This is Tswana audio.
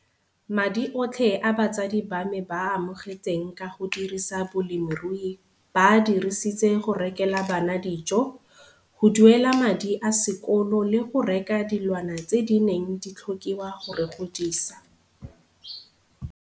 Madi otlhe a batsadi ba me ba a amogetseng ka go dirisa bolemirui ba a dirisitse go rekela bana dijo, go duela madi a sekolo le go reka dilwana tse di neng di tlhokiwa go re godisa.